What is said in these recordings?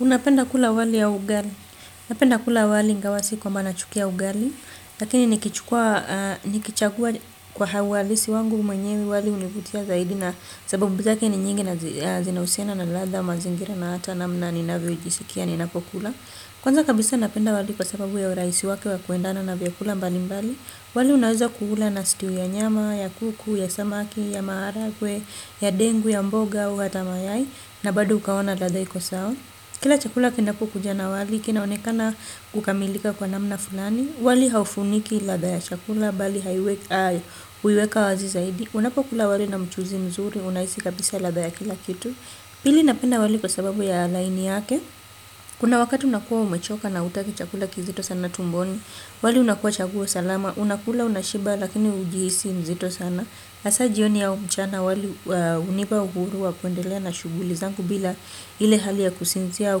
Unapenda kula wali au ugali. Napenda kula wali ingawasi kwa manachukia ugali, lakini nikichagua kwa hawalisi wangu mwenyewe wali univutia zaidi na sababu zake ni nyingi na zinausiana na latha, mazingira na hata namna ninawe ujisikia ni napokula. Kwanza kabisa napenda wali kwa sababu ya uraisi wake wa kuendana na vyakula mbali mbali. Wali unahuzo kuula na stew ya nyama, ya kuku, ya samaki, ya maharagwe, ya dengu, ya mboga, ya watamayai. Na bado ukaona ladaiko sao. Kila chakula kinapu kujana wali, kinaonekana ukamilika kwa namna fulani. Wali haufuniki lada ya chakula, bali haiweka, uweka wazi zaidi. Unapo kula wali na mchuzi mzuri, unahizi kabisa lada ya kila kitu. Pili napenda wali kwa sababu ya laini yake. Kuna wakati unakuwa umechoka na utaki chakula kizito sana tumboni, wali unakuwa chakula salama, unakula unashiba lakini ujihisi mzito sana. Asa jioni au mchana wali unipa uhuru wa kwendela na shuguli zangu bila ile hali ya kusinzia wa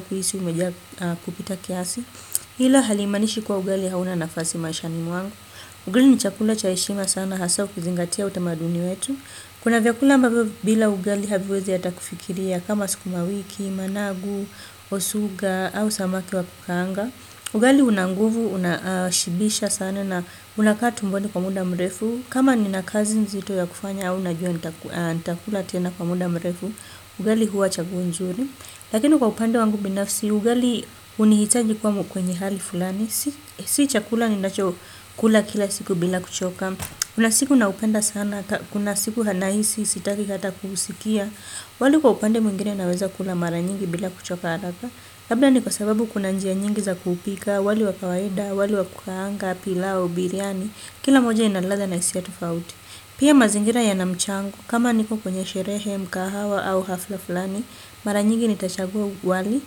kuhisi umeja kupita kiasi. Hila hali manishi kwa ugali hauna nafasi maishani mwangu. Ugali ni chakula cha eshima sana hasa ukizingatia utamaduni wetu. Kuna vya kula mba vyo bila ugali haviwezi hata kufikiria kama suku mawiki, managu, osuga au samaki wa kukanga. Ugali una nguvu unashibisha sana na unakaa tumboni kwa muda mrefu. Kama ni na kazi nzito ya kufanya au najua nitakula tena kwa muda mrefu, ugali huwa chaguo nzuri. Lakini kwa upande wangu binafsi, ugali unihitaji kuwa kwenye hali fulani. Si chakula ni nacho kula kila siku bila kuchoka. Kuna siku na upenda sana, kuna siku hanahisi sitaki hata kuhusikia. Wali kwa upande mwingine naweza kula mara nyingi bila kuchoka haraka labda ni kwa sababu kuna njia nyingi za kupika. Wali wa kawaeda, wali wa kukahanga, pilao, biriani. Kila moja inaladha na isiya tofauti. Pia mazingira ya namchangu kama niko kwenye sherehe mkahawa au hafla fulani. Mara nyingi nitachagua wali.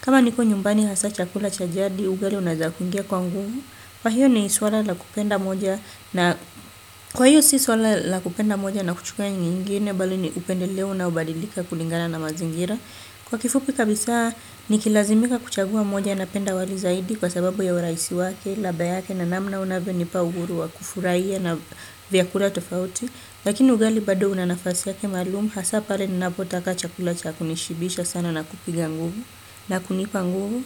Kama niko nyumbani hasa chakula chajadi ugali unaezakungia kwangu. Kwa hiyo ni iswala la kupenda moja na kuchukua ingine bali ni upende leo na ubadilika kulingana na mazingira. Kwa kifupi kabisa nikilazimika kuchagua moja na penda wali zaidi kwa sababu ya uraisi wake, ladha yake na namna unavo nipa uhuru wa kufuraiya na vyakura tofauti. Lakini ugali bado unanafasi yake malumu hasapare ni napotaka chakulacha kunishibisha sana na kupiga nguvu na kunipa nguvu.